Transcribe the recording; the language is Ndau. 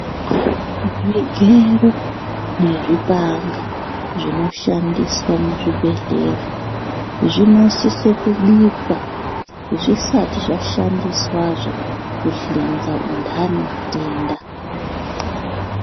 Zvigero nezvipanga zvinoshandiswa muzvibhehlera zvinosise kubikwa zvisati zvashandiswazve kuhlinza muntu aneutensa.